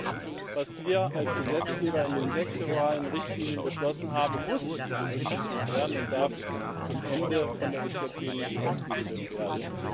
Das, was wir als Gesetzgeber in den sektoralen Richtlinien beschlossen haben, muss berücksichtigt werden und darf am Ende von der EZB nicht ausgehebelt werden.